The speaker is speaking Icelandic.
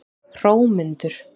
Hrómundur